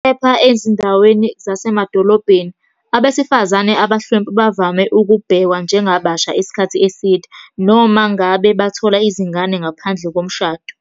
Kepha ezindaweni zasemadolobheni, abesifazane abahlwempu bavame ukubhekwa njengabasha isikhathi eside, noma ngabe bathola izingane ngaphandle komshado.